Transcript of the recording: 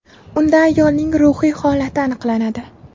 Unda ayolning ruhiy holati aniqlanadi.